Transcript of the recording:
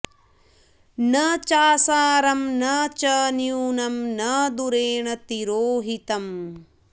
न चासारं न च न्यूनं न दूरेण तिरोहितम्